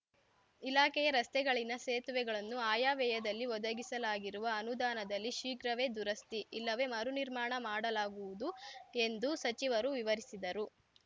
ಇಲಾಖೆಯ ರಸ್ತೆಗಳ್ಳಿ ನ ಸೇತುವೆಗಳನ್ನು ಆಯಾವ್ಯಯದಲ್ಲಿ ಒದಗಿಸಲಾಗಿರುವ ಅನುದಾನದಲ್ಲಿ ಶೀಘ್ರವೇ ದುರಸ್ತಿ ಇಲ್ಲವೇ ಮರು ನಿರ್ಮಾಣ ಮಾಡಲಾಗುವುದು ಎಂದು ಸಚಿವರು ವಿವರಿಸಿದರು